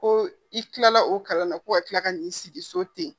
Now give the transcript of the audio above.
Ko i kilala o kalan na ko ka kila ka n'i sigi so ten